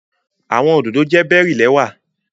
Awọn ododo jẹ bery lẹwa